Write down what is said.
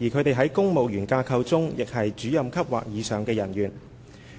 而他們在公務員架構中亦是主任級或以上的人員。